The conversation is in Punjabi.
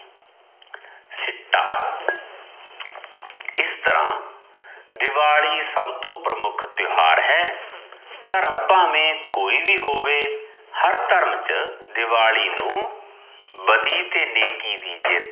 ਸਿੱਟਾ ਇਸ ਤਰਾਂ ਦਿਵਾਲੀ ਸਭ ਤੋਂ ਪ੍ਰਮੁਖ ਤਿਓਹਾਰ ਹੈ, ਧਰਮ ਭਾਵੇ ਕੋਈ ਵ ਹੋਵੇ ਹਰ ਧਰਮ ਚ ਦਿਵਾਲੀ ਨੂੰ, ਬਦੀ ਤੇ ਨੇੱਕੀ ਦੀ ਜਿੱਤ